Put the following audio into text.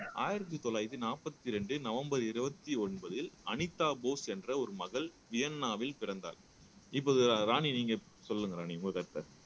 ஆயிரத்தி தொள்ளாயிரத்தி நாற்பத்தி இரண்டு நவம்பர் இருபத்தி ஒன்பதில் அனிதா போஸ் என்ற ஒரு மகள் வியன்னாவில் பிறந்தார் இப்போது ராணி நீங்க சொல்லுங்க ராணி உங்க கருத்தை